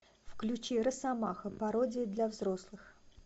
включи росомаха пародия для взрослых